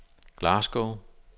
Glasgow